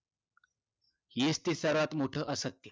हेच ते सर्वात मोठं असत्य